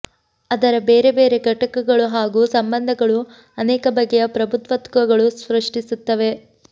ಅದರ ಬೇರೆ ಬೇರೆ ಘಟಕಗಳೂ ಹಾಗೂ ಸಂಬಂಧಗಳು ಅನೇಕ ಬಗೆಯ ಪ್ರಭುತ್ವಗಳನ್ನು ಸೃಷ್ಟಿಸುತ್ತವೆ